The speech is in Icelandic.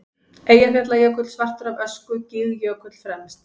Eyjafjallajökull svartur af ösku, Gígjökull fremst.